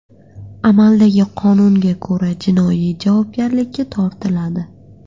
Amaldagi qonunga ko‘ra jinoiy javobgarlikka tortiladi.